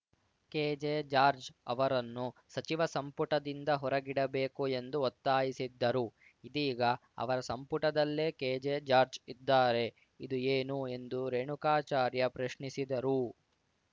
K J George ಅವರನ್ನು ಸಚಿವ ಸಂಪುಟದಿಂದ ಹೊರಗಿಡಬೇಕು ಎಂದು ಒತ್ತಾಯಿಸಿದ್ದರು ಇದೀಗ ಅವರ ಸಂಪುಟದಲ್ಲೇ ಕೆಜೆ ಜಾರ್ಜ್ ಇದ್ದಾರೆ ಇದು ಏನು ಎಂದು ರೇಣುಕಾಚಾರ್ಯ ಪ್ರಶ್ನಿಸಿದರು